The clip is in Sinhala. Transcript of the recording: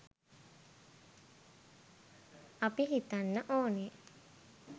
අපි හිතන්න ඕනේ